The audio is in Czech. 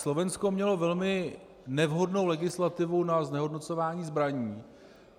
Slovensko mělo velmi nevhodnou legislativu na znehodnocování zbraní.